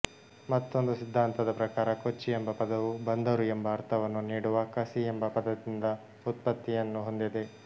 ಮತ್ತೊಂದು ಸಿದ್ಧಾಂತದ ಪ್ರಕಾರ ಕೊಚ್ಚಿ ಎಂಬ ಪದವು ಬಂದರು ಎಂಬ ಅರ್ಥವನ್ನು ನೀಡುವ ಕಸಿ ಎಂಬ ಪದದಿಂದ ವ್ಯುತ್ಪತ್ತಿಯನ್ನು ಹೊಂದಿದೆ